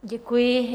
Děkuji.